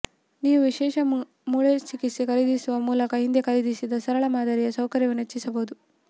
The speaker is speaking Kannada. ನೀವು ವಿಶೇಷ ಮೂಳೆಚಿಕಿತ್ಸೆ ಖರೀದಿಸುವ ಮೂಲಕ ಹಿಂದೆ ಖರೀದಿಸಿದ ಸರಳ ಮಾದರಿಯ ಸೌಕರ್ಯವನ್ನು ಹೆಚ್ಚಿಸಬಹುದು